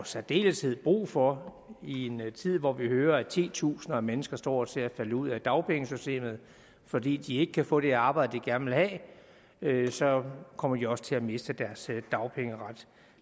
særdeleshed brug for i en tid hvor vi hører at titusinder af mennesker står til at falde ud af dagpengesystemet fordi de ikke kan få det arbejde de gerne vil have så kommer de også til at miste deres dagpengeret